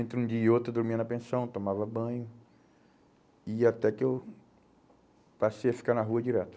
Entre um dia e outro eu dormia na pensão, tomava banho e até que eu passei a ficar na rua direto.